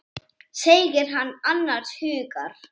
segir hann annars hugar.